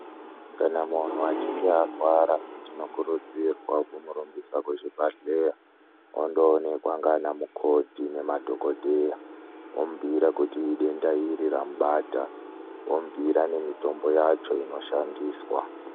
Kana munhu echinge arwara tinokurudzirwa kumurumbisa kuchibhehleya ondonekwa nganamukoti nemadhokodheya vomubhuyira kuti idenda iri ramubata vomubhuyira nemitombo yacho inoshandiswa.